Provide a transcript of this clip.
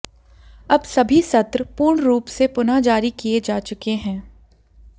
अब सभी सत्र पूर्ण रूप से पुनः जारी किये जा चुके हैं